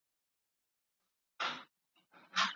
Mitt svar er nei.